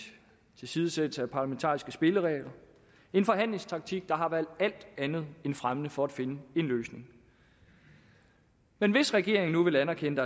tilsidesættelse af parlamentariske spilleregler og en forhandlingstaktik der har været alt andet fremmende for at finde en løsning men hvis regeringen nu vil anerkende